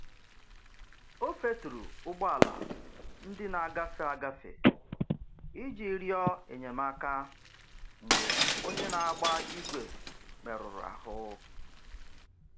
O feturu ụgbọala ndị na-agafe agafe iji rịọ enyemaka mgbe onye na-agba igwe merụrụ ahụ.